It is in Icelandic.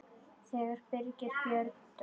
Þegar Birgir Björn dó.